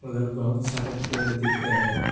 बगल में बहुत सारे पेड़ दिख रहे हैं।